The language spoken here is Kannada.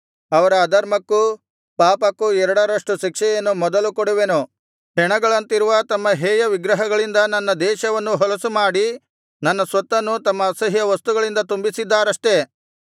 ಅವರ ಅಧರ್ಮಕ್ಕೂ ಪಾಪಕ್ಕೂ ಎರಡರಷ್ಟು ಶಿಕ್ಷೆಯನ್ನು ಮೊದಲು ಕೊಡುವೆನು ಹೆಣಗಳಂತಿರುವ ತಮ್ಮ ಹೇಯವಿಗ್ರಹಗಳಿಂದ ನನ್ನ ದೇಶವನ್ನು ಹೊಲಸುಮಾಡಿ ನನ್ನ ಸ್ವತ್ತನ್ನು ತಮ್ಮ ಅಸಹ್ಯ ವಸ್ತುಗಳಿಂದ ತುಂಬಿಸಿದ್ದಾರಷ್ಟೆ